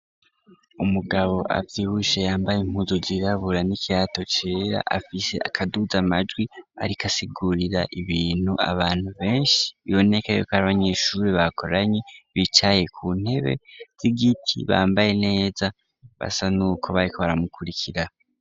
Umugabo avyibushe yambaye impuzu zirabura nikirato cera afise akaduza majwi arikasigurira ibintu abantu benshi biboneka yoko ari abanyeshuri bakoranye bicaye ku ntebe z'igiti bambaye neza basa nuko bariko baramukurikira.